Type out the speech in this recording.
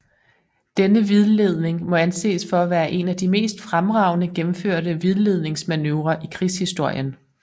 Denne vildledning må anses for at være en af de mest fremragende gennemførte vildledningsmanøvrer i krigshistorien